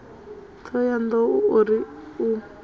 thohoyanḓ ou o ri u